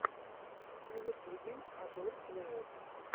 на ютубе адор плэйер